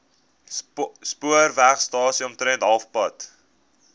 spoorwegstasie omtrent halfpad